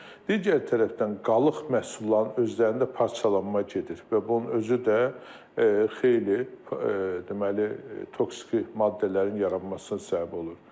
Digər tərəfdən qalıq məhsulların özlərində parçalanma gedir və bunun özü də xeyli deməli toksiki maddələrin yaranmasına səbəb olur.